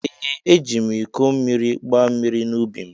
Ee ejim iko mmiri gba mmiri na ubi m.